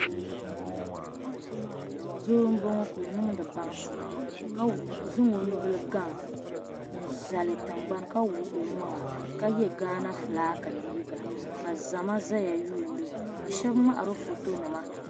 Doo n bɔŋɔ ka ɔniŋdi baŋsim ka zaŋ ɔ nubili gaŋ n zali tiŋgbani ka wuɣi ɔmaŋa ka ye ghana fulaagi liiga ka zama ʒɛya ni lihiri ka shabi mŋahiro fɔtɔ nima